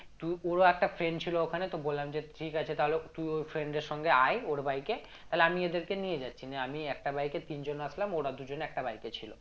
তো ওরও একটা friend ছিল ওখানে তো বললাম যে ঠিক আছে তাহলে তুই ওর friend এর সঙ্গে আই ওর bike এ তালে আমি এদেরকে নিয়ে যাচ্ছি নিয়ে আমি একটা bike এ তিনজন আসলাম একটা bike এ ছিল